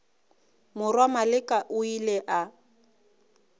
morwa maleka o ile a